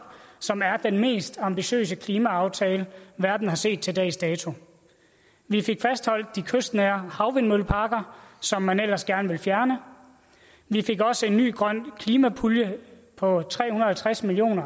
som er den mest ambitiøse klimaaftale verden har set til dags dato vi fik fastholdt de kystnære havvindmølleparker som man ellers gerne ville fjerne vi fik også en ny grøn klimapulje på tre hundrede og halvtreds million